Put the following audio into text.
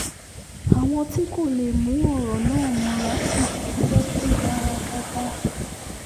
àwọn tí kò lè mú ọ̀rọ̀ náà mọ́ra sì bú sẹ́kún gbàràgàrà